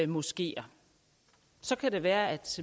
moskeer så kan det være at